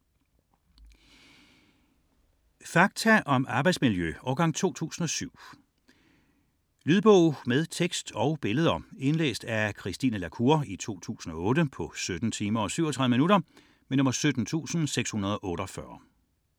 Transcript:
61.44 Fakta om arbejdsmiljø: årgang 2007 Lydbog med tekst og billeder 17648 Indlæst af Christine La Cour, 2008. Spilletid: 17 timer, 37 minutter.